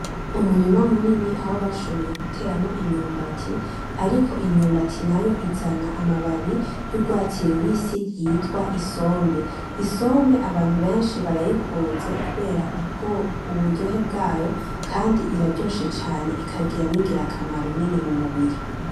Umurima munini aho bashoboye guteramwo imyumbati ariko imyumbati nayo izana amababi y'urwatsi rubisi yitwa isombe, isombe abantu benshi barayikunze kubera ubwo uburyohe bwayo kandi iraryoshe cane ikagira n'ingirakamaro nini mu mubiri.